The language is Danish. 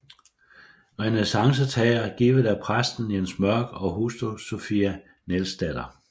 Renæssancestager givet af præsten Jens Mørk og hustru Sophie Nielsdatter